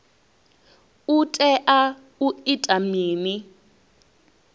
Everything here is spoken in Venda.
u tea u ita mini